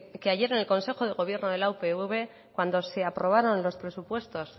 que ayer en el consejo de gobierno de la upv cuando se aprobaron los presupuestos